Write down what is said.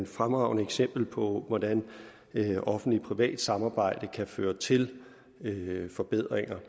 fremragende eksempel på hvordan et offentligt privat samarbejde kan føre til forbedringer